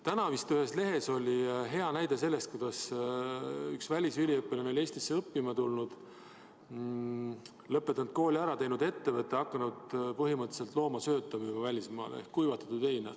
Täna vist ühes lehes oli hea näide selle kohta, kuidas üks välisüliõpilane oli Eestisse õppima tulnud, lõpetanud siin kooli, teinud ettevõtte ja hakanud viima välismaale loomasööta ehk kuivatatud heina.